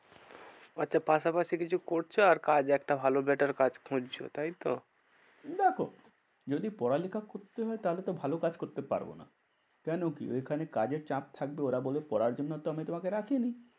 আচ্ছা পাশাপাশি কিছু করছো আর কাজ? একটা ভালো better কাজ খুঁজছো তাই তো? দেখো যদি পড়ালেখা করতে হয় তাহলে তো ভালো কাজ করতে পারবো না। কেন কি? ঐখানে কাজের চাপ থাকবে ওরা বলবে পড়ার জন্য তো আমি তোমাকে রাখিনি।